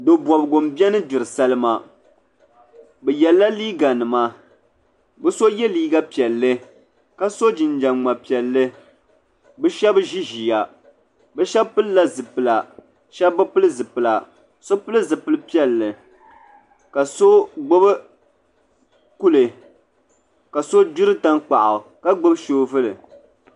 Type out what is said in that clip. do'bobgu m biɛni gbiri salima bɛ yela liiga nima bɛ so ye liiga piɛlli ka so jinjiɛm ŋma'piɛlli bɛ sheba ʒi ʒiya bɛ sheba pilila zipila sheba bi pili zipila so pili zipil piɛlli ka so gbibi kuli ka so gbiri tankpaɣu ka gbibi soobuli.